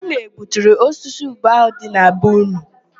Ụnụ egbuturu osisi ube ahụ dị na be ụnụ?